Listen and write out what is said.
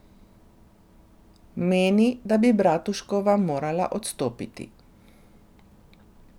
Meni, da bi Bratuškova morala odstopiti.